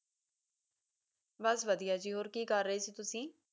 ਬਸ ਵਧੀਆ ਜੀ ਹੋਰ ਕੀ ਕਰ ਰਹੇ ਸੀ ਤੁਸੀ